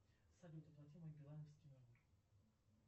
салют оплати мой билайновский номер